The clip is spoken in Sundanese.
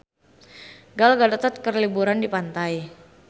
Gal Gadot keur liburan di pantai